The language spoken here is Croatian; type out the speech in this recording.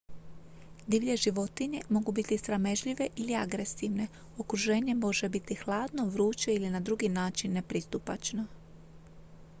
divlje životinje mogu biti sramežljive ili agresivne okruženje može biti hladno vruće ili na drugi način nepristupačno